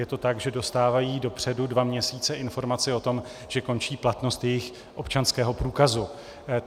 Je to tak, že dostávají dopředu dva měsíce informaci o tom, že končí platnost jejich občanského průkazu.